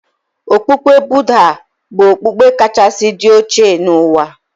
Okpukpe Budha bụ okpukpe kachasị dị oche n'ụwa.